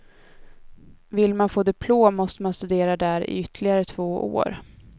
Vill man få diplom måste man studera där i ytterligare två år.